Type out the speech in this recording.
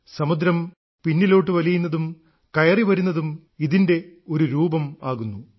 സമുദ്രം പിന്നിലോട്ടു വലിയുന്നതും കയറി വരുന്നതും ഇതിന്റെ ഒരു രൂപമാകുന്നു